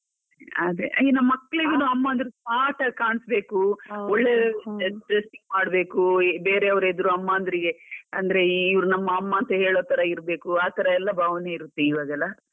ಅದೇ ಈಗಿನ ಮಕ್ಕಳಿಗುನು ಅಮ್ಮ ಅಂದ್ರೆ smart ಆಗಿ ಕಾಣಿಸ್ಬೇಕು, ಒಳ್ಳೆ dressing ಮಾಡ್ಬೇಕು, ಬೇರೆಯವ್ರ್ ಎದುರು ಅಮ್ಮ ಅಂದ್ರೆ ಅಂದ್ರೆ ಇವ್ರ್ ನಮ್ಮ ಅಮ್ಮ ಅಂತ ಹೇಳೋತರ ಇರ್ಬೇಕು, ಆತರ ಎಲ್ಲ ಭಾವನೆ ಇರುತ್ತೆ ಇವಾಗೆಲ್ಲ.